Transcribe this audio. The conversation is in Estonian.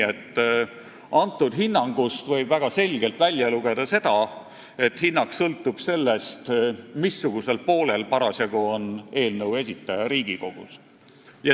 Sellest võib väga selgelt välja lugeda seda, et hinnang sõltub sellest, missugusel poolel eelnõu esitaja Riigikogus parasjagu on.